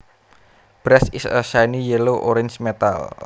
Brass is a shiny yellow orange metal